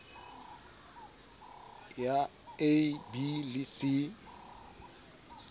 ya a b le c